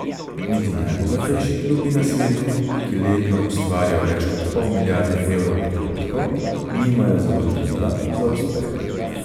Niti najbogatejši klubi na svetu, ki letno ustvarijo več kot pol milijarde evrov prihodkov, nimajo zagotovila za uspeh.